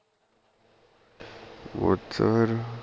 ਅੱਛਾ ਫੇਰ